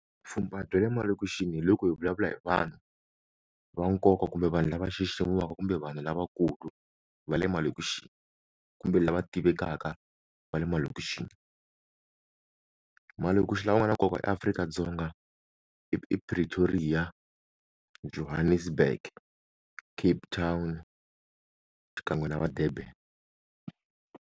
Vupfhumba bya le malokixi hi loko hi vulavula hi vanhu va nkoka kumbe vanhu lava xiximiwaka kumbe vanhu lavakulu va le malokixini kumbe lava tivekaka va le malokixini, malokixi ya n'wana ya nkoka eAfrika-Dzonga i i Pritoria, Johannesburg, Cape Town xikan'we na va-Durban.